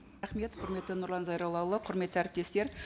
рахмет құрметті нұрлан зайроллаұлы құрметті әріптестер